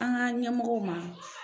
An ka ɲɛmɔgɔw ma.